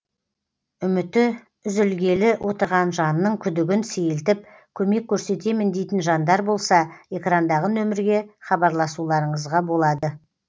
үміті үзілгелі отырған жанның күдігін сейілтіп көмек көрсетемін дейтін жандар болса экрандағы нөмірге хабарласуларыңызға болады